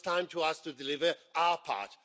Now it is time for us to deliver our part.